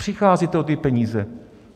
Přicházíte o ty peníze.